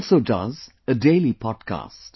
He also does a daily podcast